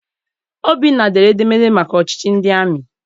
Obinna dere edemede maka ọchịchị ndị amị.